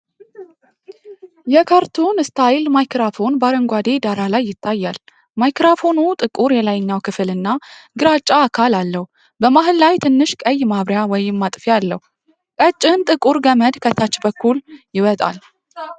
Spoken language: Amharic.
የካርቱን ስታይል ማይክሮፎን በአረንጓዴ ዳራ ላይ ይታያል። ማይክሮፎኑ ጥቁር የላይኛው ክፍል እና ግራጫ አካል አለው፤ በመሃል ላይ ትንሽ ቀይ ማብሪያ/ማጥፊያ አለው። ቀጭን ጥቁር ገመድ ከታች በኩል ይወጣል።